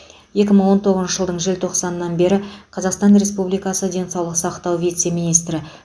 екі мың тоғызыншы жылдың желтоқсанынан бері қазақстан республикасы денсаулық сақтау вице министрі